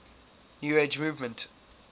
new age movement